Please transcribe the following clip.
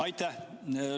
Aitäh!